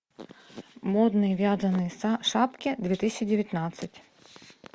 модные вязаные шапки две тысячи девятнадцать